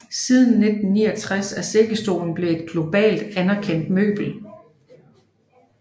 Siden 1969 er sækkestole blevet et globalt anerkendt møbel